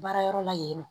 Baara yɔrɔ la yen nɔ